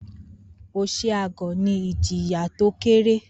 Oshi aguo ní ìjìyà tó kéré